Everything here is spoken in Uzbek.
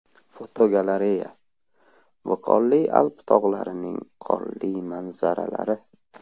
Fotogalereya: Viqorli Alp tog‘larining qorli manzaralari.